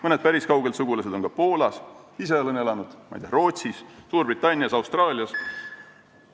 Mõned päris kauged sugulased on ka Poolas, ise olen elanud Rootsis, Suurbritannias, Austraalias.